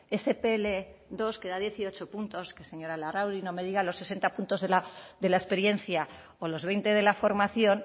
ese pl dos que da dieciocho puntos que señora larrauri no me diga los sesenta puntos de la experiencia o los veinte de la formación